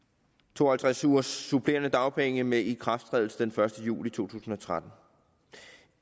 to og halvtreds ugers supplerende dagpenge med ikrafttrædelse den første juli to tusind og tretten